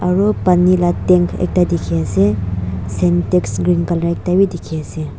aru pani la tank ekta dikhiase sintex green colour ekta bi dikhiase.